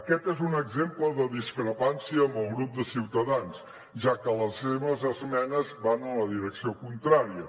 aquest és un exemple de discrepància amb el grup de ciutadans ja que les seves esmenes van en la direcció contrària